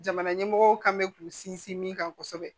Jamana ɲɛmɔgɔw kan mɛ k'u sinsin min kan kosɛbɛ